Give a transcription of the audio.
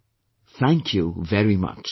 " Thank you very much